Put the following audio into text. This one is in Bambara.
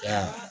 Ya